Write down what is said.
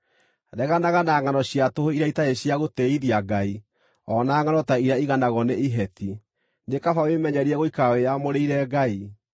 Reganaga na ngʼano cia tũhũ iria itarĩ cia gũtĩĩithia Ngai, o na ngʼano ta iria iganagwo nĩ iheti; nĩ kaba wĩmenyerie gũikara wĩyamũrĩire Ngai.